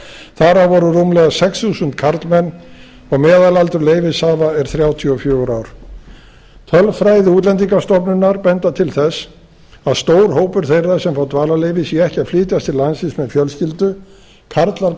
þar af voru rúmlega sex þúsund karlmenn og meðalaldur leyfishafa er þrjátíu og fjögur ár tölfræði útlendingastofnunar bendir til þess að stór hópur þeirra sem fá dvalarleyfi séu ekki að flytjast til landsins með fjölskyldu karlar